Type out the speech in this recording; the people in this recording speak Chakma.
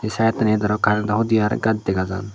saidodi arow karento hudi aro gaj dega jar.